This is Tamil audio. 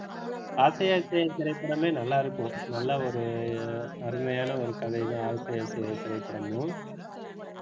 ஆசை ஆசையாய் திரைப்படமே நல்லா இருக்கும் நல்ல ஒரு அருமையான ஒரு கதைதான் ஆசை ஆசையாய் திரைப்படமும்,